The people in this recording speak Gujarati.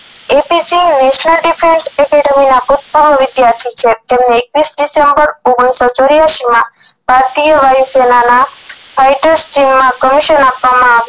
એ પી સિંઘ વૈશ્નદીપ એ ના ગુપ્ત વિધ્યાર્થી છે તેમને એકવીસ ડીસેમ્બર ઓગણીસો ચોરીયાસી માં ભારતીય વાયુ સેનાના fighter streme માં કમિશન આપવામાં